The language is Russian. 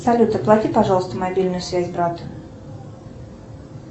салют оплати пожалуйста мобильную связь брату